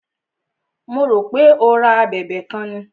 Mo rò pé o ra a abẹ̀bẹ̀ kan ni.